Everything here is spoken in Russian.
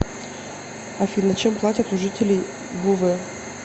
афина чем платят у жителей буве